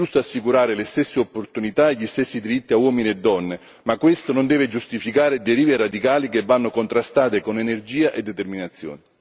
È giusto assicurare le stesse opportunità e gli stessi diritti a uomini e donne, ma questo non deve giustificare derive radicali che vanno contrastate con energia e determinazione.